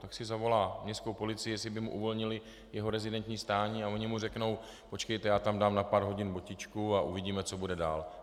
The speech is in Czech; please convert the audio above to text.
Tak si zavolá městskou policii, jestli by mu uvolnili jeho rezidenční stání, a oni mu řeknou: "Počkejte, já tam dám na pár hodin botičku a uvidíme, co bude dál."